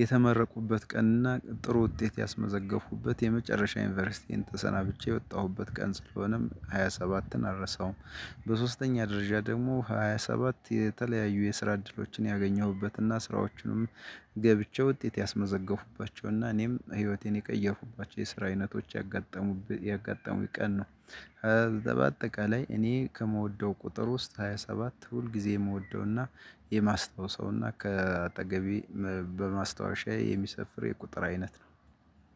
የተመረቁበት ቀንና ጥሩ ውጤት ያስመዘገኩበት የመጨረሻ ዩኒቨርሲቲዬን ተሰናብቼ የወጣሁበት ቀን ስለሆነም ሃያ ሰባትን አልረሳውም በሶስተኛ ደረጃ ደግሞ ሃያ ሰባት የተለያዩ የስራ እድሎችን ያገኘሁበትና ስራዎቹንም ገብቼ ውጤት ያስመዘገብኩባቸውና እኔም ህይወቴን የቀየርኩባቸው የስራ አይነቶች ያጋጠሙት ያጋጠሙኝ ቀን ነው። በአጠቃላይ እኔ ከምወደው ቁጥር ውስጥ ሃያ ሰባት ሁል ጊዜ የምወደውና የማስታውሰውና ከአጠገቤ በማስታወሻዬ የሚሰፍር የቁጥር አይነት ነው።